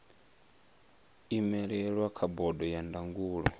imelelwa kha bodo ya ndangulo